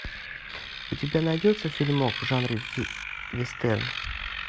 у тебя найдется фильмок в жанре вестерн